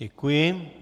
Děkuji.